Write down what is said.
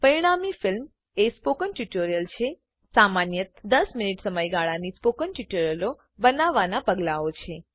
પરિણામી ફિલ્મ એ spoken tutorial છે સામાન્યત 10 મિનીટ સમયગાળાની સ્પોકન ટ્યુટોરીયલો બનાવવાનાં પગલાઓ છે